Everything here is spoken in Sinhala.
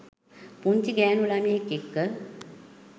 පුංචි ගෑණු ළමයෙක් එක්ක.